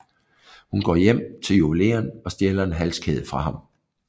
Hun går hjem til juveleren og stjæler en halskæde fra ham